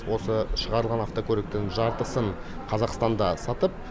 осы шығарылған автокөліктің жартысын қазақстанда сатып